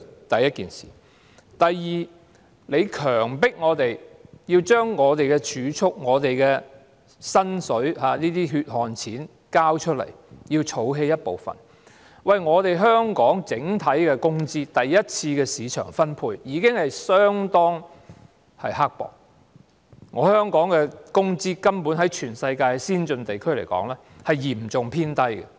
第二，當局強迫我們將儲蓄、薪金等血汗錢交出，要我們儲起一部分，但香港整體的工資，在第一次的市場分配中已相當刻薄，香港的工資在全球先進地區來說，是嚴重偏低的。